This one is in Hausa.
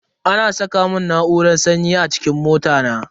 Ana saka mun na'urar sanyi a cikin mota na.